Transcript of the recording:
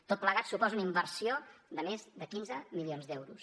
tot plegat suposa una inversió de més de quinze milions d’euros